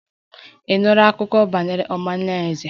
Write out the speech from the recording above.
Ị nụla akụkọ banyere omalinze?